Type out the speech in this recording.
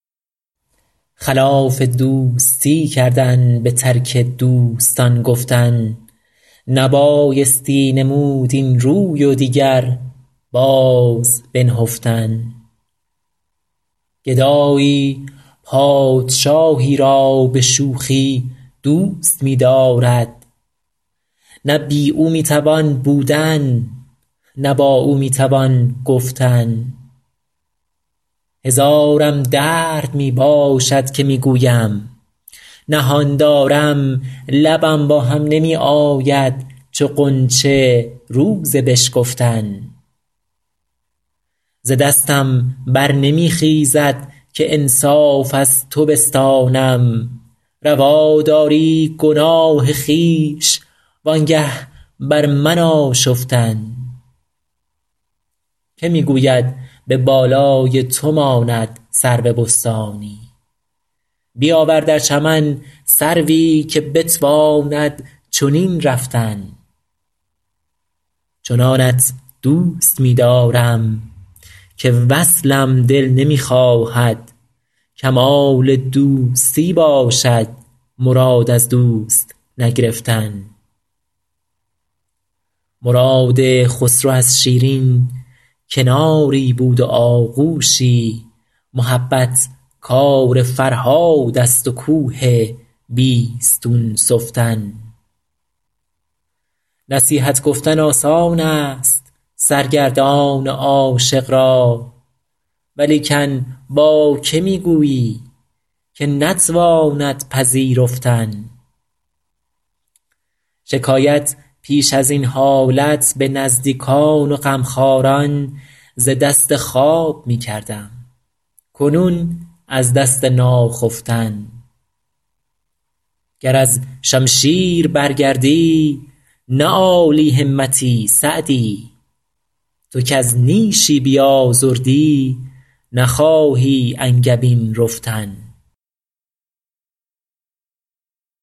خلاف دوستی کردن به ترک دوستان گفتن نبایستی نمود این روی و دیگر باز بنهفتن گدایی پادشاهی را به شوخی دوست می دارد نه بی او می توان بودن نه با او می توان گفتن هزارم درد می باشد که می گویم نهان دارم لبم با هم نمی آید چو غنچه روز بشکفتن ز دستم بر نمی خیزد که انصاف از تو بستانم روا داری گناه خویش و آنگه بر من آشفتن که می گوید به بالای تو ماند سرو بستانی بیاور در چمن سروی که بتواند چنین رفتن چنانت دوست می دارم که وصلم دل نمی خواهد کمال دوستی باشد مراد از دوست نگرفتن مراد خسرو از شیرین کناری بود و آغوشی محبت کار فرهاد است و کوه بیستون سفتن نصیحت گفتن آسان است سرگردان عاشق را ولیکن با که می گویی که نتواند پذیرفتن شکایت پیش از این حالت به نزدیکان و غمخواران ز دست خواب می کردم کنون از دست ناخفتن گر از شمشیر برگردی نه عالی همتی سعدی تو کز نیشی بیازردی نخواهی انگبین رفتن